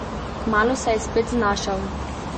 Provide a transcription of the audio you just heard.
Kmalu se je spet znašel.